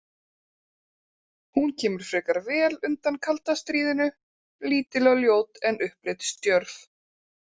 Hún kemur frekar vel undan kalda stríðinu, lítil og ljót en upplitsdjörf.